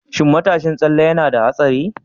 Shin matashin tsalle yana da haɗari?